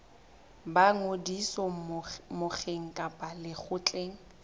ba ngodiso mokgeng kapa lekgotleng